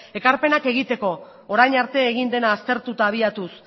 ekarpenak egiteko orain arte egin dela aztertu eta abiatuz